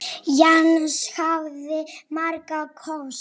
Jens hafði marga kosti.